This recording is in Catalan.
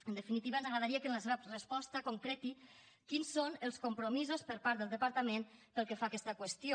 en definitiva ens agradaria que en la seva resposta concreti quins són els compromisos per part del departament pel que fa a aquesta qüestió